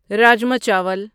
رجما چاول